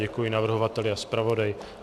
Děkuji navrhovateli a zpravodaji.